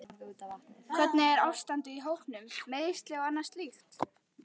Hvernig er ástandið á hópnum, meiðsli og annað slíkt?